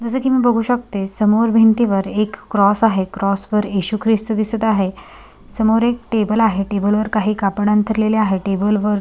जस की मी बघू शकते समोर भिंती वर एक क्रॉस आहे. क्रॉस वर येशु ख्रिस्त दिसत आहे समोर एक टेबल आहे टेबल वर काही कापड अंथरलेले आहे टेबल वर--